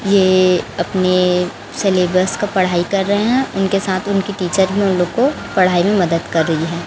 ये अपने सिलेबस का पढ़ाई कर रहे हैं उनके साथ उनकी टीचर भी उन लोग को पढ़ाई में मदद कर रही है।